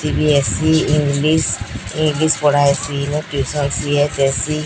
CBSE English English ପଢା ହେଇଚି। ଏନୂ ଟିସନ ସି_ଏଚ_ଏସ_ସି --